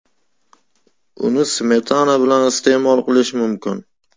Uni smetana bilan iste’mol qilish mumkin.